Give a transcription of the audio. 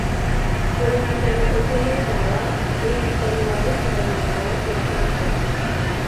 Ũrigitani ũngĩ nĩ ndawa, ũrigitani wa gũcinwo na ndawa cia kanca.